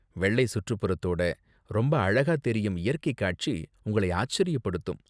வெள்ளை சுற்றுப்புறத்தோட ரொம்ப அழகா தெரியும் இயற்கை காட்சி உங்களை ஆச்சரியப்படுத்தும்.